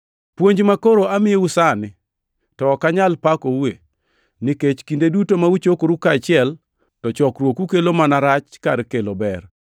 Puonj makoro amiyou sani to ok anyal pakoue, nikech kinde duto ma uchokoru kaachiel to chokruoku kelo mana rach kar kelo ber.